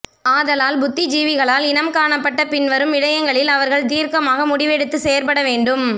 ஆதலால் புத்திஜீவிகளால் இனம்காணப்பட்ட பின்வரும் விடயங்களில் அவர்கள் தீர்க்கமான முடிவெடுத்து செயற்படவேண்டும்